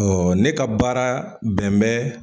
ne ka baara bɛn bɛ